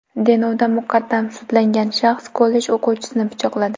Denovda muqaddam sudlangan shaxs kollej o‘quvchisini pichoqladi.